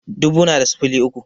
Dubu na da sifili uku